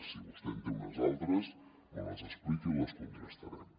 si vostè en té unes altres me les explica i les contrastarem